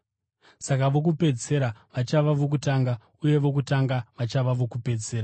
“Saka vokupedzisira vachava vokutanga uye vokutanga vachava vokupedzisira.”